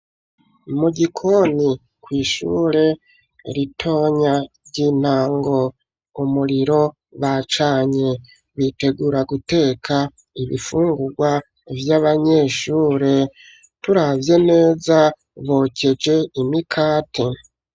Mu gikoni kw'ishure ritonya ry'intango, umuriro bacanye, bitegura guteka ibifungurwa vy'abanyeshure, turavye neza bokeje imikate.